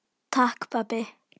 Takk pabbi.